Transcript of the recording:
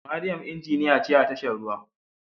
Mariam injiniya ce a tashar ruwa